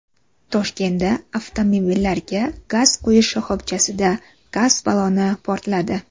Toshkentda avtomobillarga gaz quyish shoxobchasida gaz balloni portladi .